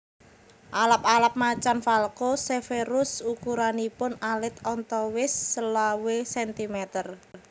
Alap alap Macan Falco severus ukuranipun alit antawis selawe sentimeter